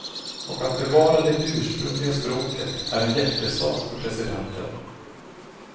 Och att bevara det ursprungliga språket är en hjärtesak för presidenten.